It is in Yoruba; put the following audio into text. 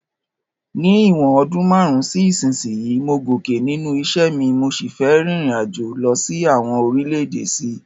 Ní ìwòn odún marun si isínsìnyí, mo gòkè nínú isẹ́ mi, mo si fe ririnajo lo sí àwon orílẹ̀dè sí